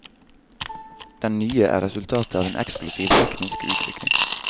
Den nye er resultatet av en eksplosiv teknisk utvikling.